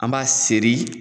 An b'a seri